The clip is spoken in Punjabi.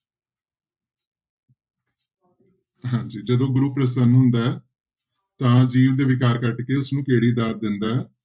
ਹਾਂਜੀ ਜਦੋਂ ਗੁਰੂ ਪ੍ਰਸੰਨ ਹੁੰਦਾ ਹੈ ਤਾਂ ਜੀਵ ਦੇ ਵਿਕਾਰ ਕੱਟ ਕੇ ਉਸਨੂੰ ਕਿਹੜੀ ਦਾਤ ਦਿੰਦਾ ਹੈ।